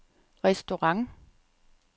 restaurant